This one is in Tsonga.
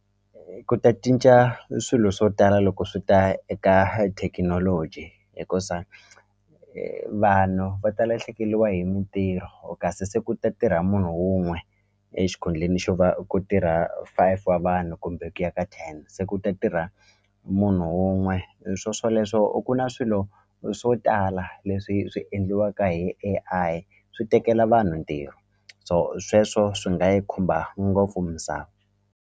Ku ta cinca e swilo swo tala loko swi ta eka thekinoloji hikusa vanhu va ta lahlekeriwa hi mintirho kasi se ku ta tirha munhu wun'we exikhundleni xo va ku tirha five wa vanhu kumbe ku ya ka ten se ku ta tirha munhu wun'we hi swoswoleswo u ku na swilo swo tala leswi swi endliwaka hi A_I swi tekela vanhu ntirho so sweswo swi nga yi khumba ngopfu misava.